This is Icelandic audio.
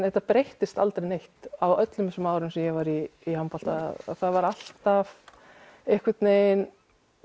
þetta breyttist aldrei neitt öll þessi ár sem ég var í handbolta það var alltaf einhvern veginn